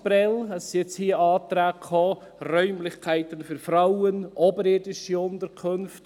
Hier sind nun Anträge gekommen für Räumlichkeiten für Frauen, oberirdische Unterkünfte.